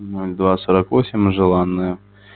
ноль два сорок восемь желанная